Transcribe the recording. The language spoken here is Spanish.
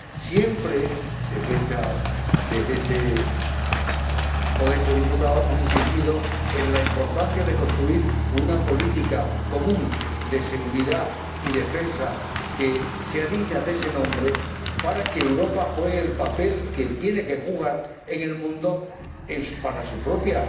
Siempre, desde mi condición de modesto diputado, he insistido en la importancia de construir una política común de seguridad y defensa que sea digna de ese nombre para que Europa juegue el papel que tiene que jugar en el mundo para su propia